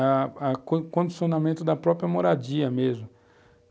a a condicionamento da própria moradia mesmo.